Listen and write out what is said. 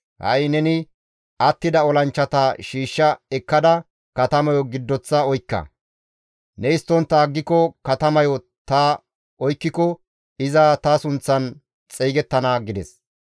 Ha7i neni attida olanchchata shiishsha ekkada katamayo giddoththa oykka; ne histtontta aggiko katamayo ta oykkiko iza ta sunththan xeygettana» gides.